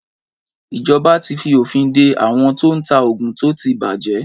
Ìjoba tí fi òfin de àwon tó n ta ògùn tó ti bàjé